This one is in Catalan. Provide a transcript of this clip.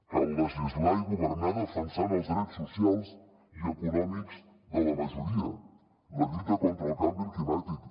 cal legislar i governar defensant els drets socials i econòmics de la majoria la lluita contra el canvi climàtic